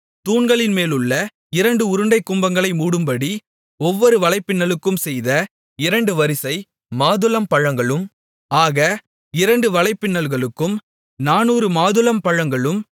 தூண்களின் மேலுள்ள இரண்டு உருண்டைக் கும்பங்களை மூடும்படி ஒவ்வொரு வலைப்பின்னலுக்கும் செய்த இரண்டு வரிசை மாதுளம்பழங்களும் ஆக இரண்டு வலைப்பின்னல்களுக்கும் 400 மாதுளம்பழங்களும்